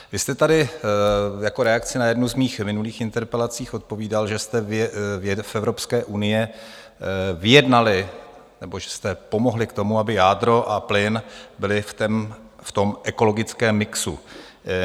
Vy jste tady jako reakci na jednu z mých minulých interpelací odpovídal, že jste v Evropské unii vyjednali nebo že jste pomohli k tomu, aby jádro a plyn byly v tom ekologickém mixu.